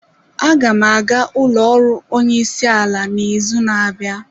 Aga m aga n'ụlọ ọrụ onyeisiala n'izu na-abịa.